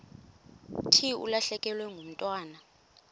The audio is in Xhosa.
thi ulahlekelwe ngumntwana